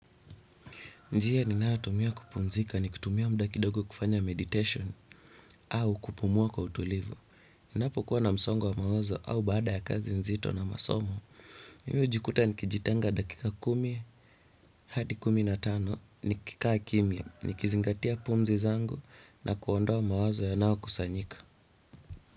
Njia ninayotumia kupumzika ni kutumia mda kidogo kufanya meditation au kupumua kwa utulivu. Ninapo kuwa na msongo wa mawazo au baada ya kazi nzito na masomo. Mi hujikuta ni kijitenga dakika kumi hadi kumi na tano ni kikaa kimia ni kizingatia pumzi zangu na kuondowa mawazo ya nao kusanyika.